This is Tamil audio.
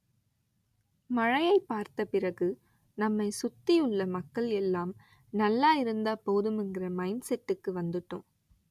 மழையை பார்த்த பிறகு நம்மை சுத்தி உள்ள மக்கள் எல்லாம் நல்லாயிருந்தா போதும்ங்கிற மைன்ட் செட்டுக்கு வந்துட்டோம்